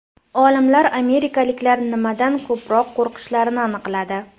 Olimlar amerikaliklar nimadan ko‘proq qo‘rqishlarini aniqladi.